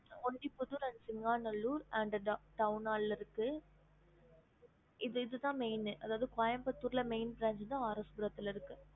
ஒன்னு புது pranch சிங்காநல்லூர் இதுத main இது கோயம்புத்தூர்ல இருக்கு